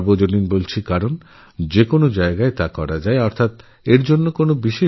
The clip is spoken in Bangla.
সর্বসুলভ এই জন্য যে যেকোনো জায়গাতেই যোগ অভ্যাস করাসম্ভব